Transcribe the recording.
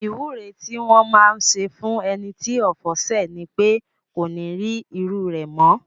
Ìwúre tí wọn máá ń ṣe fún ẹni tí ọ̀fọ̀ ṣẹ̀ ni pé kó ní rí irú rẹ̀ mọ́